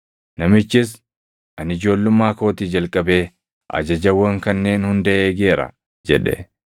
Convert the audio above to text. Namichis, “Ani ijoollummaa kootii jalqabee ajajawwan kanneen hunda eegeera” jedhe.